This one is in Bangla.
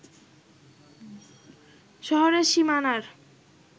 শহরের সীমানার